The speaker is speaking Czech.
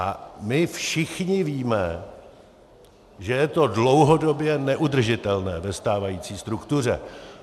A my všichni víme, že je to dlouhodobě neudržitelné ve stávající struktuře.